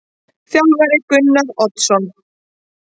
Þjálfari: Gunnar Oddsson.